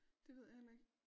Det ved jeg heller ikke